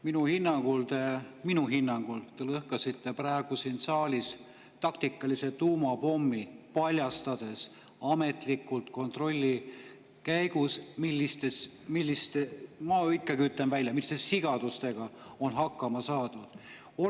Minu hinnangul – minu hinnangul – te lõhkasite praegu siin saalis taktikalise tuumapommi, paljastades ametlikult kontrolli käigus, milliste – ma ütlen ikkagi välja – sigadustega on hakkama saadud.